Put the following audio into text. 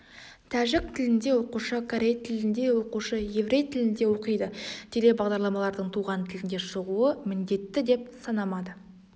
тәжік тіліндеоқушы корей тілінде оқушы еврей тілінде оқиды теле бағдарламалардың туған тілінде шығуы міндетті деп санамады